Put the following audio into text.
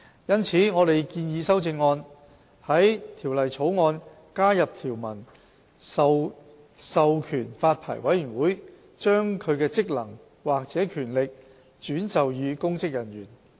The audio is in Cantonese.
因此，我們建議修正案在《條例草案》加入條文，授權發牌委員會把其職能或權力轉授予公職人員。